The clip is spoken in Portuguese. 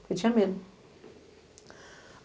Ele tinha medo.